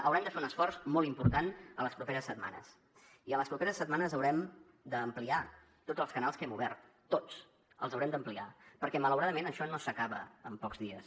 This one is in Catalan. haurem de fer un esforç molt important en les properes setmanes i en les properes setmanes haurem d’ampliar tots els canals que hem obert tots els haurem d’ampliar perquè malauradament això no s’acaba en pocs dies